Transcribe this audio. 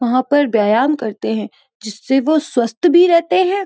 वहाँ पर व्यायाम करते हैं जिससे वो स्वस्थ भी रहते हैं।